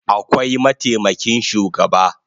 Akwai mataimakin shugaba